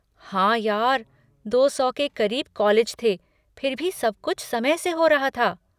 हाँ यार, दो सौ के क़रीब कॉलेज थे फिर भी सब कुछ समय से हो रहा था।